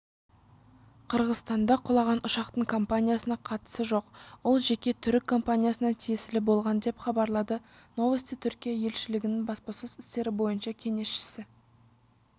қырғызстанда құлаған ұшақтың компаниясына қатысы жоқ ол жеке түрік компаниясына тиесілі болған деп хабарлады новости түркия елшілігінің баспасөз істері бойынша кеңесшісі